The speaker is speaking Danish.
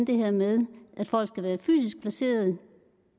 det her med at folk skal være fysisk placeret